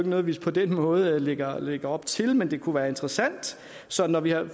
noget vi på den måde lægger lægger op til men det kunne være interessant så når vi har